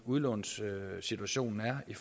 udlånssituationen er i